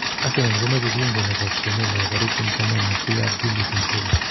Arsenal komoche kuingo nepo kwenet nepo paris st germain Yacine Adli 27..